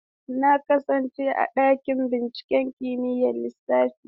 Na kasance a ɗakin binciken kimiyyar lissafi.